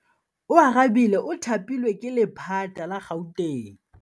Oarabile o thapilwe ke lephata la Gauteng.